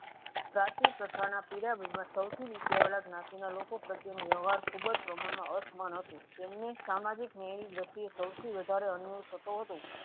પ્રાચીન પ્રથાના પિરામિડ માં સૌથી નીચે આવેલા જ્ઞાતિના લોકો પ્રત્યેનો વ્યવહાર ખુબજ પ્રમાણમાં અસમાન હતું. તેમને સામાજિક ન્યાયની ગતિએ સૌથી વધારે અન્યાય થતું હતું.